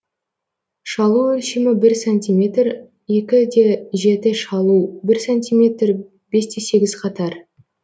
шалу өлшемі бір сантиметр екі де жеті шалу бір сантиметр бес те сегіз қатар